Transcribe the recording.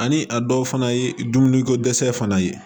Ani a dɔw fana ye dumuni ko dɛsɛ fana ye